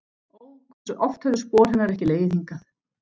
Ó, hversu oft höfðu spor hennar ekki legið hingað.